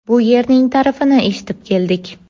Bu yerning ta’rifini eshitib keldik.